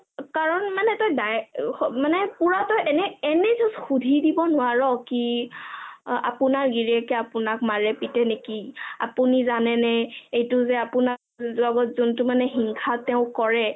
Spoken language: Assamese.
কাৰণ মানে তই direct পুৰা তই এনে এনে just সুধি দিব নোৱাৰ কি আপোনাৰ গিৰিয়েকে আপোনাক মাৰে পিতে নেকি আপোনি জানে এইটো যে আপোনাৰ লগত যোন্টো মানে ঈৰ্ষা তেও কৰে